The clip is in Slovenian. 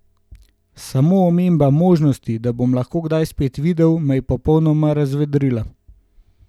Samo omemba možnosti, da bom lahko kdaj spet videl, me je popolnoma razvedrila.